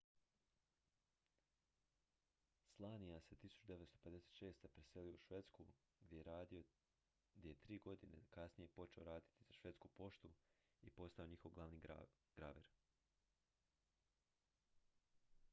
słania se 1956. preselio u švedsku gdje je 3 godine kasnije počeo raditi za švedsku poštu i postao je njihov glavni graver